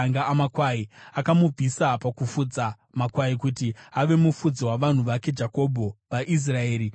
akamubvisa pakufudza makwai kuti ave mufudzi wavanhu vake Jakobho, vaIsraeri nhaka yake.